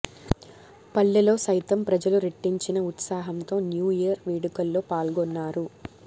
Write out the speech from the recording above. పల్లెల్లో సైతం ప్రజలు రెట్టించిన ఉత్సాహాంతో న్యూ ఈయర్ వేడుకల్లో పాల్గొన్నారు